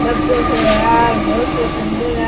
बाबो सो है और बहुत ही सुन्दर है।